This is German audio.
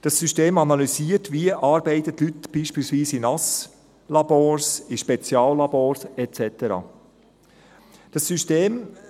Das System analysiert, wie die Leute beispielsweise in Nasslabors, in Speziallabors et cetera arbeiten.